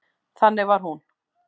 Þannig var hún.